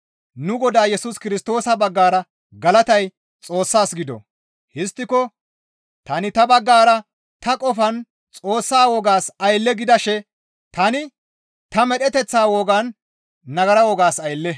Nu Godaa Yesus Kirstoosa baggara galatay Xoossas gido. Histtiko tani ta baggara ta qofan Xoossa wogaas aylle gidashe tani ta medheteththa wogan nagara wogas aylle.